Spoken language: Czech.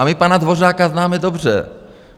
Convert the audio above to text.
A my pana Dvořáka známe dobře.